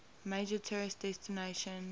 major tourist destination